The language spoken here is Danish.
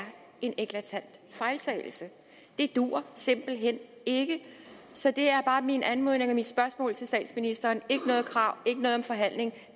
en eklatant fejltagelse det duer simpelt hen ikke så det er bare min anmodning og mit spørgsmål til statsministeren ikke noget krav ikke noget om forhandling